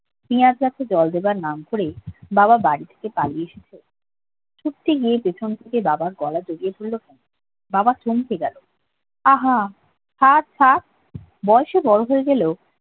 পিয়াজি গাছে জল দেওয়ার নাম করে বাবা বাড়ি থেকে পালিয়ে খুঁজতে গিয়ে পিছন থেকে বাবার গলা জরিয়ে ধরলো বাবা চমকে গেল উম ছাড় ছাড় বয়সে বড় হয়ে গেলেও